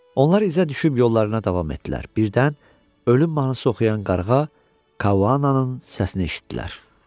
Onlar izə düşüb yollarına davam etdilər, birdən ölüm mahnısı oxuyan qarğa Kavanın səsini eşitdilər.